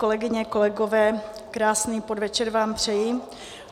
Kolegyně, kolegové, krásný podvečer vám přeji.